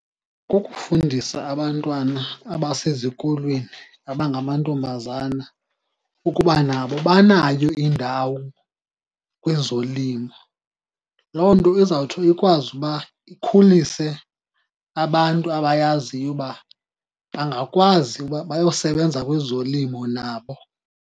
Kukufundisa abantwana abasezikolweni abangamantombazana ukuba nabo banayo indawo kwezolimo. Loo nto izawuthi ikwazi uba ikhulise abantu abayaziyo uba bangakwazi uba bayosebenza kwezolimo nabo.